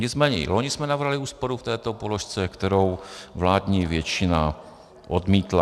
Nicméně i loni jsme navrhli úsporu v této položce, kterou vládní většina odmítla.